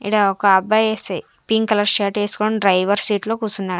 ఈడ ఒక అబ్బాయి పింక్ కలర్ షర్ట్ ఏసుకొని డ్రైవర్ సీట్ లో కుసున్నాడ--